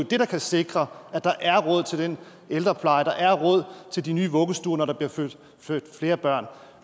det der kan sikre at der er råd til den ældrepleje at der er råd til de nye vuggestuer når der bliver født flere børn